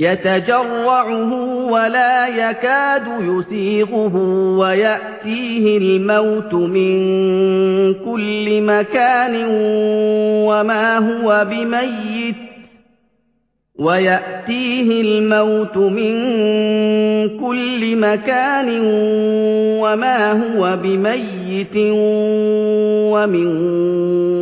يَتَجَرَّعُهُ وَلَا يَكَادُ يُسِيغُهُ وَيَأْتِيهِ الْمَوْتُ مِن كُلِّ مَكَانٍ وَمَا هُوَ بِمَيِّتٍ ۖ وَمِن